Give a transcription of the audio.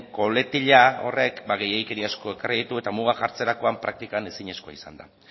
coletilla horrek gehiegikeria asko ekarri ditu eta mugak jartzerakoan praktikan ezinezkoa izan da